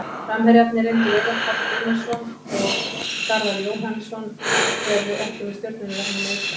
Framherjarnir reyndu Veigar Páll Gunnarsson og Garðar Jóhannsson eru ekki með Stjörnunni vegna meiðsla.